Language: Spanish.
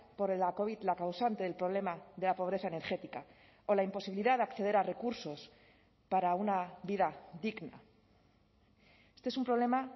por la covid la causante del problema de la pobreza energética o la imposibilidad de acceder a recursos para una vida digna este es un problema